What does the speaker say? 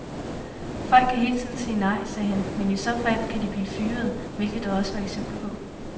Folk kan hele tiden sige nej, sagde han, men i så fald kan de blive fyret, hvilket der også var eksempler på.